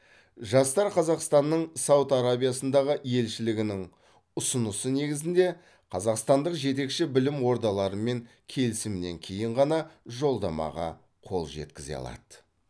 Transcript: жастар қазақстанның сауд арабиясындағы елшілігінің ұсынысы негізінде қазақстандық жетекші білім ордаларымен келісімнен кейін ғана жолдамаға қол жеткізе алады